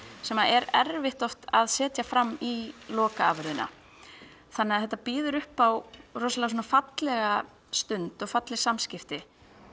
sem er erfitt oft að setja fram í lokaafurðina þannig að þetta býður upp á rosalega svona fallega stund og falleg samskipti